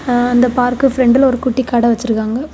ஆ அந்த பார்க்க பிரண்ட்ல ஒரு குட்டி கடை வச்சிருக்காங்.